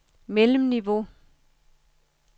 mellemniveau